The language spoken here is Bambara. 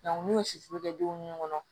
n'u ye siforo kɛ denw nun kɔnɔ